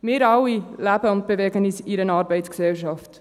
Wir alle leben und bewegen uns in einer Arbeitsgesellschaft.